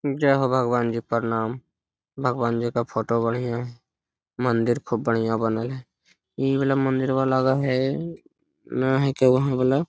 जय हो भगवान जी प्रणाम। भगवान जी का फोटो बढ़िया है। मंदिर खुब बढ़िया बनल है। ई वाला मंदिरवा लगा हे ना हई का ओहां वला।